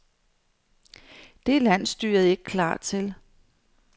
Det er landsstyret ikke klar til.